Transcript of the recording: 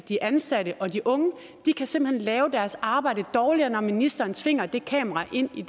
de ansatte og de unge de kan simpelt hen lave deres arbejde dårligere når ministeren tvinger det kamera ind i